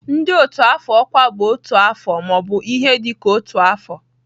ndị otu afọ ọkwa bụ otu afọ ma ọ bụ ihe dị ka otu afọ.